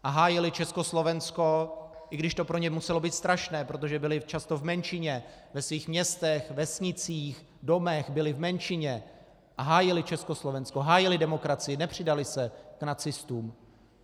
A hájili Československo, i když to pro ně muselo být strašné, protože byli často v menšině ve svých městech, vesnicích, domech, byli v menšině a hájili Československo, hájili demokracii, nepřidali se k nacistům.